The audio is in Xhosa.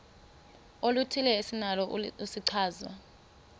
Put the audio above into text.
oluthile esinalo isichazwa